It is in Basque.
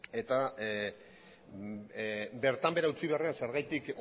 eta bertan behera utzi beharrean zergatik